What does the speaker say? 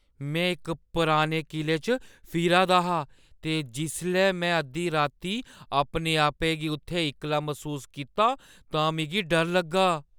मैं इक पुराने किले च फिरा दा हा ते जिसलै मैं अद्धी रातीं अपने-आपै गी उत्थै इक्कला मसूस कीता तां मिगी डर लग्गा।